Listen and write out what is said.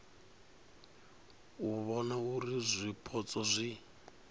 u vhona uri zwipotso zwi